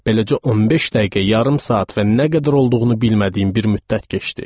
Beləcə 15 dəqiqə, yarım saat və nə qədər olduğunu bilmədiyim bir müddət keçdi.